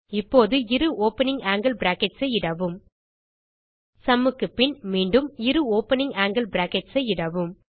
இப்போது இரு opening angle brackets ஐ இடவும் சும் க்கு பின் மீண்டும் இரு ஓப்பனிங் ஆங்கில் பிராக்கெட்ஸ் ஐ இடவும்